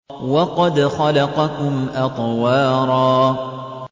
وَقَدْ خَلَقَكُمْ أَطْوَارًا